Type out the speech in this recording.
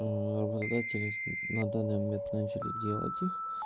работодатели на данный момент начали делать